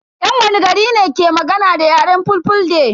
Yan wani gari ne ke magana da yaren fulfulde?